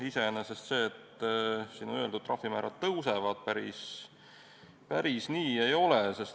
Iseenesest see, et trahvimäärad tõusevad, päris nii ei ole.